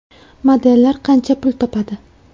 Modellar qancha pul topadi?